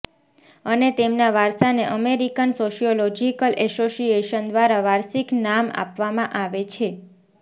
અને તેમના વારસાને અમેરિકન સોશિયોલોજીકલ એસોસિએશન દ્વારા વાર્ષિક નામ આપવામાં આવે છે